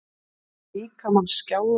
Finn líkamann skjálfa.